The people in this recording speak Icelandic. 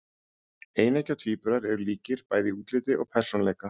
Eineggja tvíburar eru líkir bæði í útliti og persónuleika.